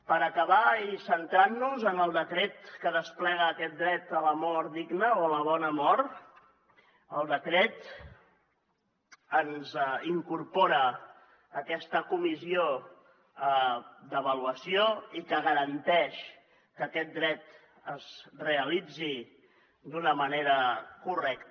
per acabar i centrant nos en el decret que desplega aquest dret a la mort digna o a la bona mort el decret ens incorpora aquesta comissió d’avaluació que garanteix que aquest dret es realitzi d’una manera correcta